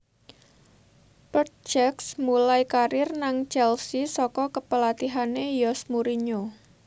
Petr Cech mulai karir nang Chelsea saka kepelatihane Jose Mourinhi